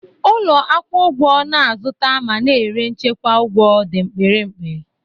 Ụlọ akwụ ụgwọ na-azụta ma na-ere nchekwa ụgwọ dị mkpirikpi.